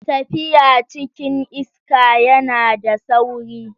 Tafiya cikin iska yana da sauri.